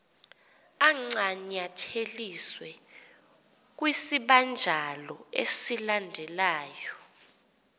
ancanyatheliswe kwisibanjalo esilandelyo